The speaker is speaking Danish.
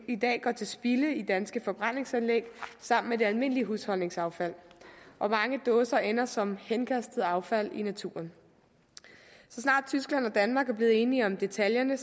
i dag går til spilde i danske forbrændingsanlæg sammen med det almindelige husholdningsaffald og mange dåser ender som henkastet affald i naturen så snart tyskland og danmark er blevet enige om detaljerne